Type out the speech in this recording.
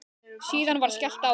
Síðan var skellt á.